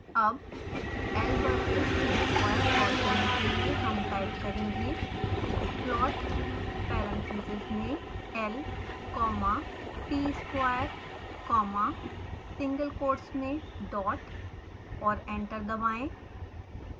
अब l versus t square plot करने के लिए हम टाइप करेंगे